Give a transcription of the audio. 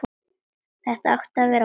Þetta átti að vera búið.